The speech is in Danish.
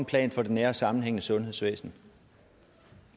plan for de nære sammenhænge i sundhedsvæsenet